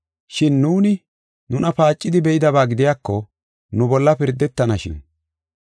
Shin nuuni nuna paacidi be7idaba gidiyako, nu bolla pirdetanashin.